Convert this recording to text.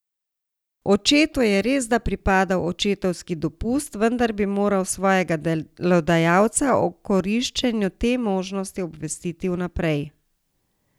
Očetu je resda pripadal očetovski dopust, vendar bi moral svojega delodajalca o koriščenju te možnosti obvestiti vnaprej.